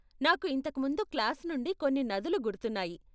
నాకు ఇంతకు ముందు క్లాస్ నుండి కొన్ని నదులు గుర్తున్నాయి.